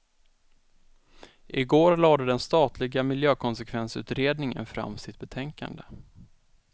I går lade den statliga miljökonsekvensutredningen fram sitt betänkande.